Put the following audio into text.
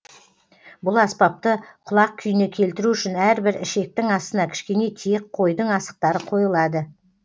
бұл аспапты құлақ күйіне келтіру үшін әрбір ішектің астына кішкене тиек қойдың асықтары қойылады